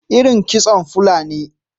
iron kitson Fulani.